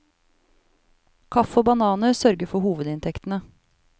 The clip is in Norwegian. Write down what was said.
Kaffe og bananer sørger for hovedinntektene.